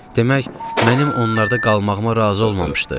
Demək, mənim onlarda qalmağıma razı olmamışdı.